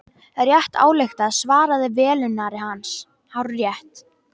Rétt ályktað svaraði velunnari hans, hárrétt.